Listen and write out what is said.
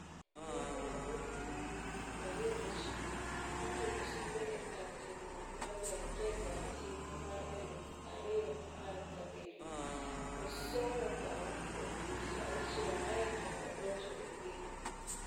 Henry Manyeki, jahigi prario gochiko, notieko sombe e kar tiegruok mar Gaitega e higa mar eluf ario apar gabirio. Osomo bao kuom dweche auchiel ae to odonjo e gedo.